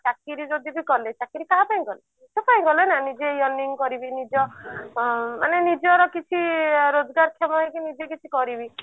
ଚାକିରି ଯଦି ବି କଲେ ଚାକିରି କାହା ପାଇଁ କଲେ ଏଠି ପାଇଁ କଲେ ନା ନିଜେ yarning କରିବି ନିଜ ଉଁ ମାନେ ନିଜର କିଛି ରୋଜଗାର କ୍ଷମ ହେଇକି ନିଜେ କିଛି କରିବି